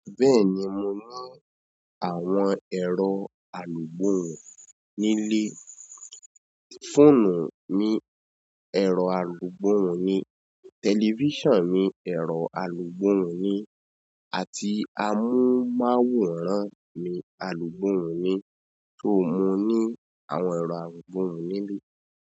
Bẹ́ẹ̀ni, mo ní àwọn ẹ̀rọ alugbohun nílẹ̀. Fóònù mi ẹ̀rọ alugbohun ni telifisonu mi ẹ̀rọ alugbohun ni àti amóhùnmáwòrán mi alugbohun ni. So mo ní àwọn ẹ̀rọ alùgbohun nílé.